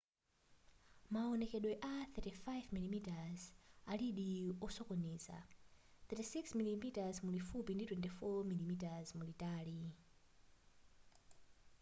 mawonekedwe a 35mm alidi osokoneza 36mm mulifupi ndi 24mm mulitali